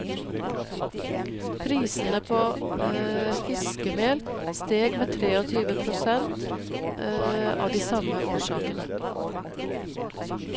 Prisene på fiskemel steg med treogtyve prosent av de samme årsakene.